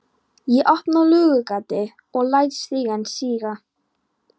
Ekkert ég á kvenfólk kunni, konunni ég einni unni.